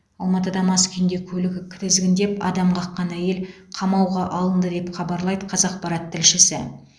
алматыда мас күйінде көлігі кізгіндеп адам қаққан әйел қамауға алынды деп хабарлайды қазақпарат тілшісі